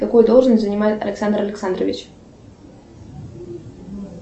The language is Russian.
какую должность занимает александр александрович